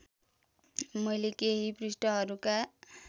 मैले केही पृष्ठहरूका